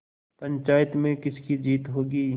पंचायत में किसकी जीत होगी